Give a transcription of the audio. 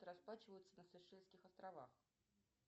расплачиваются на сейшельских островах